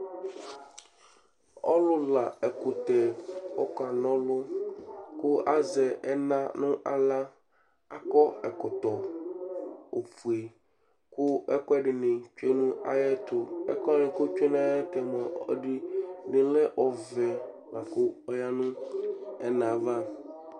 ɔlʊla ɛkutɛ ɔkanɔlʊ kʊ azɛ ɛna nʊ aɣla kʊ akɔ ɛkɔtɔ ufue, kʊ ɛkuɛdɩnɩ tsue nʊ ayɛtu, ɛkʊwanɩ ɛdɩnɩ lɛ ufue kʊ oyǝ nʊ ɛna yɛ ava